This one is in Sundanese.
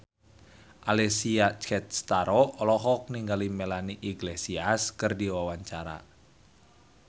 Alessia Cestaro olohok ningali Melanie Iglesias keur diwawancara